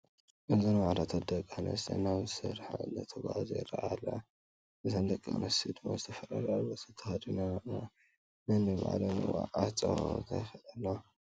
እዘን ዋዕሮታት ደቂ ኣነስትዮ ናብ ስረሓ እነዳተጓዓዛ ይረአያ ኣለዋ። እዘን ደቂ ኣነስትዮ ድማ ዝተፈላለየ ኣልባሳት ተከዲነን ኣለዋ። ነኒባዕለን እውን ኣናተፃወታ ይከዳ ኣለዋ።